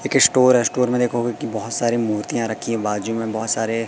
एक स्टोर है स्टोर में देखोगे की बहोत सारी मूर्तियां रखी हैं बाजू में बहोत सारे--